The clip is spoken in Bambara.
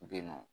Be yen nɔ